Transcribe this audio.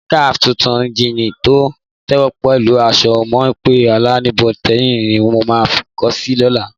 Síníkà tuntun, jíìnì tó tẹ̀wọ̀n pẹ̀lú aṣọ mọ́ńpé aláìníbọ́tíìnì ni mo máa kó si lọ́la.